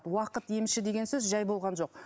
уақыт емші деген сөз жай болған жоқ